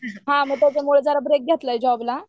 त्याच्यामुळे जरा ब्रेक घेतलाय जॉबला